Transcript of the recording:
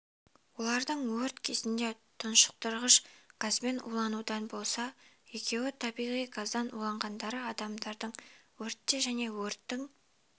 олардың өрт кезінде тұңғыш тұншықтырғыш газбен уланудан болса екеуі табиғи газдан уланғандар адамдардың өртте және өрттің